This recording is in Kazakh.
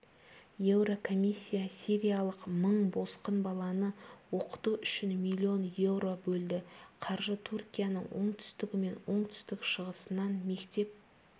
еурокомиссия сириялық мың босқын баланы оқыту үшін миллион еуро бөлді қаржы түркияның оңтүстігі мен оңтүстік-шығысынан мектеп